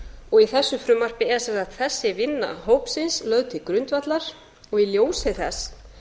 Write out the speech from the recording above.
og í þessu frumvarpi er sem sagt þessi vinna hópsins lögð til grundvallar og í ljósi þess